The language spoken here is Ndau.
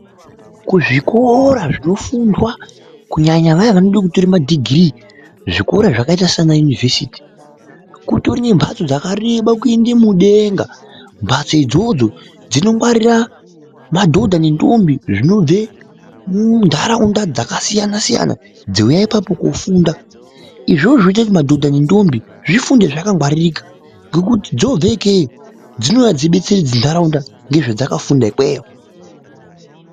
Kuzvikora zvinofundwa kunyanya vaya vanoda kutora madhigiriii zvikora zvakaita sana yunivhesiti kutorine mbatso dzakareba kuenda mudenga mbatso idzodzo dzinongwarira madhodha nendombi zvinobve muntharaunda dzakasiyana siyana dzinouye apapo kofunda izvozvo zvinoita kuti madhodha nendombi zvifunde zvakangwaririka ngekuti dzobve ikeyo dzinouya dzobetseredza ntharaunda nezvadzakafunda ikweyo.